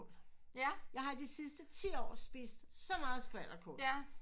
Jeg har i de sidste ti år spist så meget skvalderkål